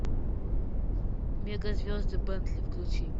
мега звезды бентли включи